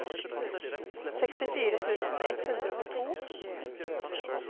sekstifire tusen ett hundre og to